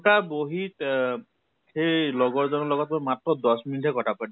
তা বহি তহ সেই লগৰ জনৰ লগত মই মাত্ৰ দশ minute হে কথা পাতিল।